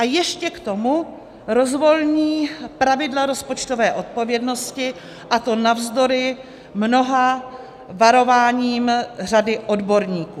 A ještě k tomu rozvolní pravidla rozpočtové odpovědnosti, a to navzdory mnoha varováním řady odborníků.